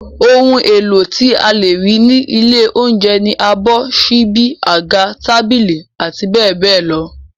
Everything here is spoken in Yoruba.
Ohun èlò tí a lè rí ní ilé oúnjẹ ni abọ́, ṣíbí, àga, tábìlì, abbl.